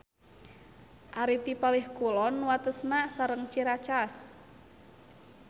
Ari ti palih kulon watesna sareng Ciracas.